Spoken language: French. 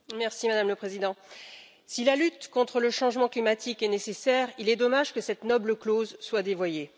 Madame la Présidente, si la lutte contre le changement climatique est nécessaire, il est dommage que cette noble cause soit dévoyée.